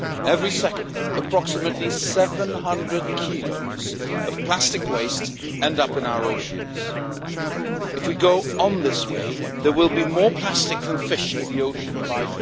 Every second, approximately 700 kilos of plastic waste ends up in our oceans. If we go on this way, there will be more plastic than fish in the ocean by